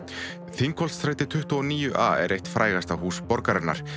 Þingholtsstræti tuttugu og níu er eitt frægasta hús borgarinnar